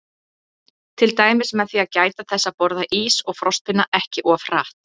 Til dæmis með því að gæta þess að borða ís og frostpinna ekki of hratt.